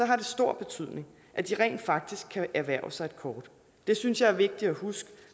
det stor betydning at de rent faktisk kan erhverve sig et kort det synes jeg er vigtigt at huske